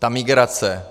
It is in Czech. Ta migrace.